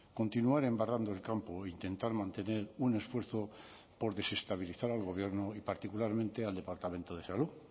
continuar embarrando el campo o intentar mantener un esfuerzo por desestabilizar al gobierno y particularmente al departamento de salud